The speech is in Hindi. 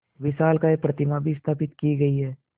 विशालकाय प्रतिमा भी स्थापित की गई है